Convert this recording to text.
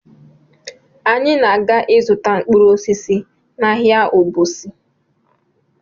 Anyị na- aga ịzụta mkpụrụ osisi n'ahịa Obosi